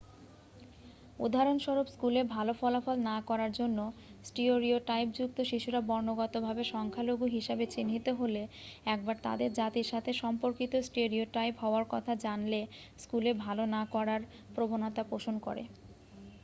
উদাহরণস্বরূপ স্কুলে ভাল ফলাফল না করার জন্য স্টিওরিওটাইপযুক্ত শিশুরা বর্ণগত ভাবে সংখ্যালঘু হিসাবে চিহ্নিত হলে একবার তাদের জাতির সাথে সম্পর্কিত স্টেরিওটাইপ হওয়ার কথা জানলে স্কুলে ভাল না করার প্রবণতা পোষণ করে